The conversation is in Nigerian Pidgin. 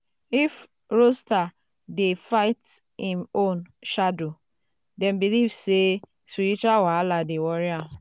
if rooster dey fight im own shadow um dem believe um say spiritual wahala dey worry am.